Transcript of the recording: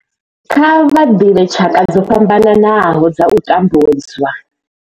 Kha vha ḓivhe tshaka dzo fhambanaho dza u tambudzwa.